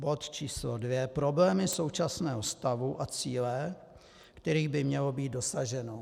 Bod číslo dva - problémy současného stavu a cíle, kterých by mělo být dosaženo.